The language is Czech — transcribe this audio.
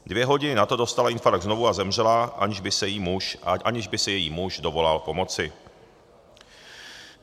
Dvě hodiny na to dostala infarkt znovu a zemřela, aniž by se její muž dovolal pomoci.